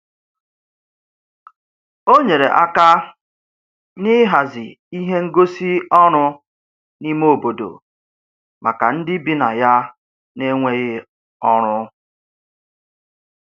O nyere aka n'ịhazi ihe ngosị ọrụ n'ime obodo maka ndị bi na ya n'enweghị ọrụ.